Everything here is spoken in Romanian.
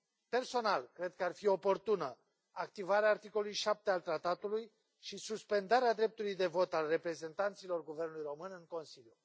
Personal, cred că ar fi oportună activarea articolului 7 al Tratatului și suspendarea dreptului de vot al reprezentanților guvernului român în Consiliu.